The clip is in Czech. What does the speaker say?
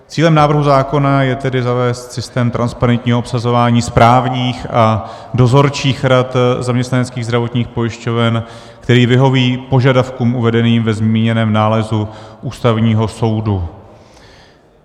Cílem návrhu zákona je tedy zavést systém transparentního obsazování správních a dozorčích rad zaměstnaneckých zdravotních pojišťoven, který vyhoví požadavkům uvedeným ve zmíněném nálezu Ústavního soudu.